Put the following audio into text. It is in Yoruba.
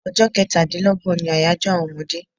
Ọjọ kẹ́tà dín lọ́gbọ̀n ní àyájọ àwọn ọmọdé